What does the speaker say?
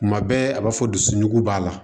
Kuma bɛɛ a b'a fɔ dusugo b'a la